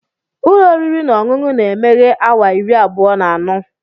Ụlọ oriri na ọṅụṅụ na-emeghe awa iri abụọ na anọ.